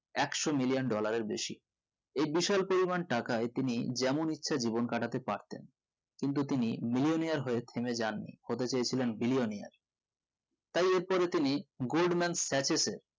একশো million dollar এর বেশি এই বিশাল পরিমান টাকায় তিনি যেমন ইচ্ছা জীবন কাটাতে পারতেন কিন্তু তিনি millionaire হয়ে থেমে যাননি হতে চেয়েছিলেন billionaire তাই এর পরে তিনি goldman status এ